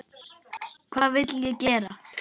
Hvað vill ég gera?